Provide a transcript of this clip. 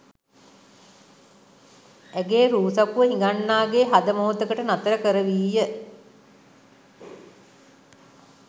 ඇගේ රූ සපුව හිඟන්නාගේ හද මොහොතකට නතර කරවීය.